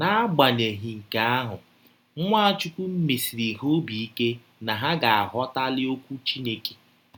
N’agbanyeghị nke ahụ, Nwachụkwụ mesiri ha ọbi ike na ha ga - aghọtali Ọkwụ Chineke.